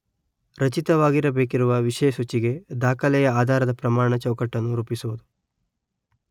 ರಚಿತವಾಗಬೇಕಿರುವ ವಿಷಯಸೂಚಿಗೆ ದಾಖಲೆಯ ಆಧಾರದ ಪ್ರಮಾಣ ಚೌಕಟ್ಟನ್ನು ರೂಪಿಸುವುದು